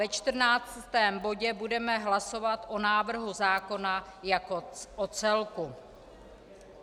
Ve čtrnáctém bodě budeme hlasovat o návrhu zákona jako o celku.